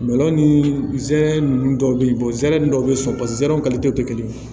ni zɛrɛn ninnu dɔw be yen zɛmɛ dɔw be sɔn ba zɛw te kelen ye